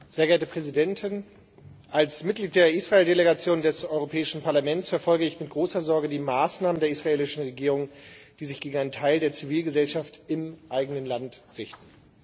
Frau Präsidentin! Als Mitglied der Israel Delegation des Europäischen Parlaments verfolge ich mit großer Sorge die Maßnahmen der israelischen Regierung, die sich gegen einen Teil der Zivilgesellschaft im eigenen Land richten.